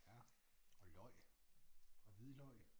Ja og løg og hvidløg